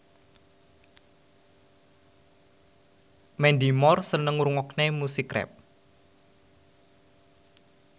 Mandy Moore seneng ngrungokne musik rap